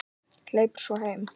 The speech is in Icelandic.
Hleypur svo heim.